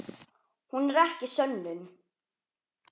Hún er ekki sönnun.